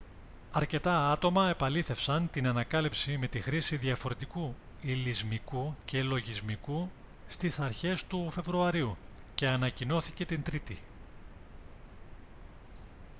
αρκετά άτομα επαλήθευσαν την ανακάλυψη με τη χρήση διαφορετικού υλισμικού και λογισμικού στις αρχές του φεβρουαρίου και ανακοινώθηκε την τρίτη